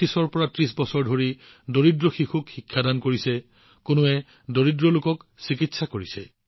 কিছুমানে ২৫৩০ বছৰ ধৰি দুখীয়া শিশুসকলক শিক্ষাদান কৰি আহিছে কিছুমানে দৰিদ্ৰ লোকসকলৰ চিকিৎসাত সহায় কৰি আহিছে